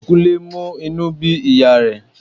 Kúnlé mú inú bí ìyá rẹ̀